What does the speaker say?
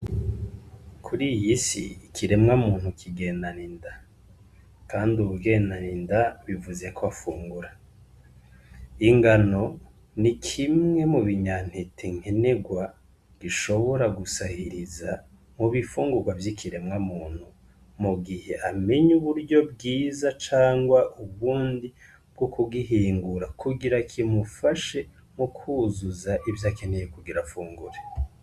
Kuri iyisi ikiremwa muntu kigendana inda, kandi uwugendana inda bivuze ko afungura. Ingano ni kimwe mu binyantete nkenerwa gishobora gusahiriza mu bifungurwa vy'ikiremwa muntu mu gihe amenye uburyo bwie iza cangwa ubundi bwo kugihingura kugira kimufashe mu kwuzuza ivyo akeneye kugira fungure.